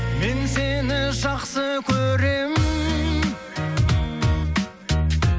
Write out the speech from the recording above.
мен сені жақсы көремін